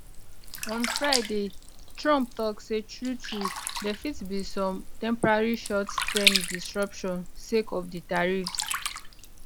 on friday trump tok say truetrue dia fit be some temporary short term disruption sake of di tariffs